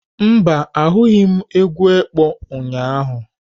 Mba, ahụghị m egwu ekpo ụnyahụ.